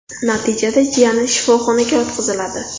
Natijada jiyani shifoxonaga yotqiziladi.